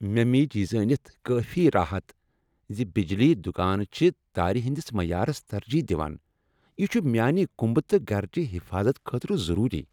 مےٚ میج یہ زٲنِتھ کٲفی راحت ز بجلی دُکان چھ تارِ ہٕندِس معیارس ترجیح دوان۔ یہ چُھ میانِہ كُمبہٕ تہٕ گھرچِہ حفاظت خٲطرٕ ضروٗری۔